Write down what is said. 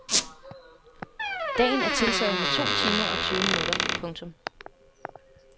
Dagen er tiltaget med to timer og tyve minutter. punktum